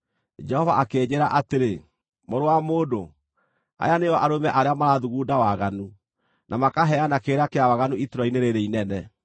Jehova akĩnjĩĩra atĩrĩ, “Mũrũ wa mũndũ, aya nĩo arũme arĩa marathugunda waganu, na makaheana kĩrĩra kĩa waganu itũũra-inĩ rĩĩrĩ inene.